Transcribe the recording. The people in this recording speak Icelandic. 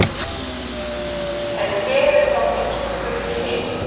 En hver er þá minnsti fugl í heimi?